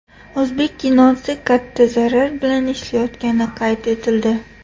O‘zbek kinosi katta zarar bilan ishlayotgani qayd etildi.